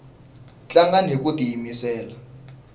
tlangani hiku tiyimisela